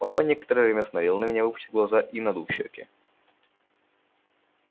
папа некоторое время смотрел на меня выпучив глаза и надув щеки